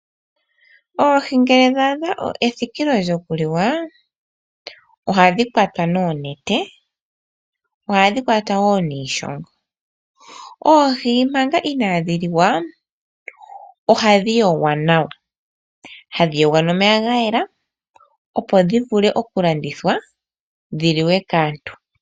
Oohi ngele dha adha ethikilo lyoku liwa ohadhi kwatwa noonete, ohadhi kwatwa wo niishongo. Oohi manga inaadhi liwa ohadhi yogwa nawa, hadhi yogwa nomeya ga yela, opo dhi vule oku landithwa dhi liwe kaantu.